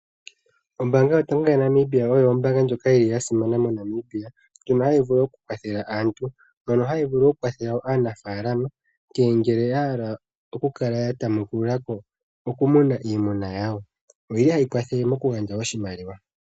Ombanga yotango yopashingwana yaNamibia , oyo ombaanga ndjoka yili yasimana moNamibia. Ombaanga ndjika ohayi vulu okukwathela aantu naanafalama uuna ngele yahala okutamukululako okumuna iimuna yawo, ohayi kwathele nokugandja oshimaliwa.